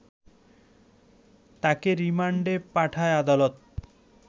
তাকে রিমান্ডে পাঠায় আদালত